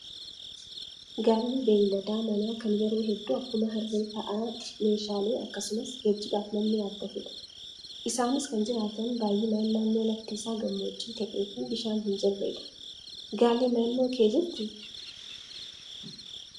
Gaalli beeylada manaa kan yeroo hedduu akkuma harree fa'aa meeshaalee akkasumas geejjibaaf namni yaabbatudha. Isaanis kan jiraatan baay'inaan naannoo lafti isaa gammoojjii ta'ee fi bishaan hin jirredha. Gaalli naannoo kee jirtii?